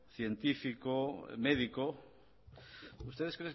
científico médico ustedes